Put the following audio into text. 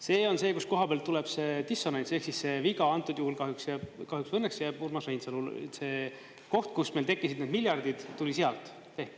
See on see, kus koha peal tuleb see dissonants ehk viga, antud juhul kahjuks või õnneks jääb Urmas Reinsalul see koht, kus meil tekkisid need miljardid, see tuli sealt.